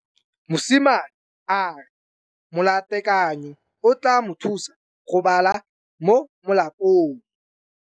Mosimane a re molatekanyô o tla mo thusa go bala mo molapalong.